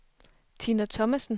Tina Thomasen